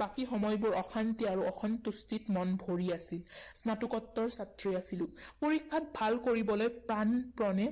বাকী সময়বোৰ অশান্তি আৰু অসন্তুষ্টিত মন ভৰি আছিল। স্নাতকোত্তৰ ছাত্ৰী আছিলো। পৰীক্ষাত ভাল কৰিবলৈ প্ৰাণপণে